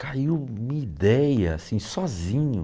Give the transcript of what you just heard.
Caiu minha ideia, assim, sozinho.